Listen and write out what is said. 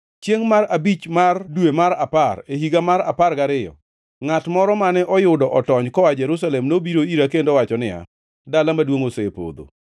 Chiengʼ mar abich mar dwe mar apar, e higa mar apar gariyo, ngʼat moro mane oyudo otony koa Jerusalem nobiro ira kendo owacho niya, “Dala maduongʼ osepodho!”